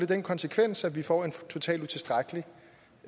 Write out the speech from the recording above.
den konsekvens at vi får en totalt utilstrækkelig